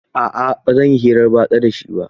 A a ba zan yi hirar batsa da shi ba.